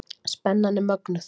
Spennan er mögnuð.